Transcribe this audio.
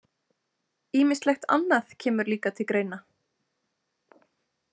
Ýmislegt annað kemur líka til greina.